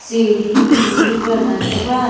सीढ़ी भी बनत बा।